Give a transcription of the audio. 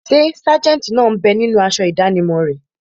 Ṣé sájẹ̀ntì náà bẹ ninú aṣọ ìdánimọ̀ rẹ̀?